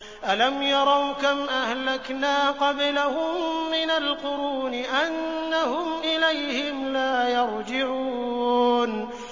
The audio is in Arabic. أَلَمْ يَرَوْا كَمْ أَهْلَكْنَا قَبْلَهُم مِّنَ الْقُرُونِ أَنَّهُمْ إِلَيْهِمْ لَا يَرْجِعُونَ